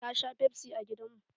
Ta sha fefsi a gidan mu.